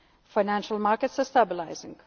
returning financial markets